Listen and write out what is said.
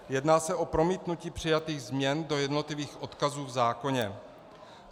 Jedná se o promítnutí přijatých změn do jednotlivých odkazů v zákoně.